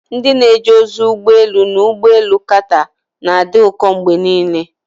Ndị na-eje ozi ụgbọ elu na ụgbọ elu Qatar na-adị ụkọ mgbe niile.